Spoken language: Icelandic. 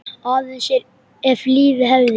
Aðeins ef lífið hefði.?